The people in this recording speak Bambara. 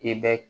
I bɛ